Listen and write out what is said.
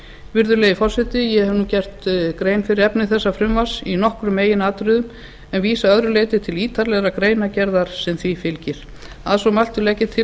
virðulegi forseti ég hef nú gert grein fyrir efni þessa frumvarps í nokkrum meginatriðum en vísa að öðru leyti til ítarlegrar greinargerðar sem því fylgir að svo mæltu legg ég til